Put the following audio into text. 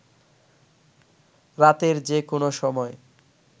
রাতের যে কোন সময়